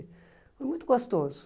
Foi muito gostoso.